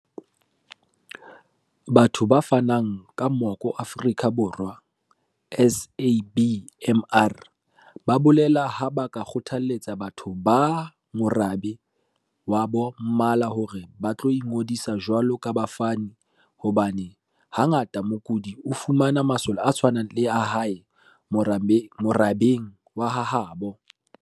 Batho ba Fanang ka Moko Afrika Borwa, SABMR, ba bolela ha ba kgothaletsa batho ba morabe wa ba Mmala hore ba tlo ingodisa jwalo ka bafani hobane ha ngata mokudi o fumana masole a tshwanang le a hae morabeng wa ha habo.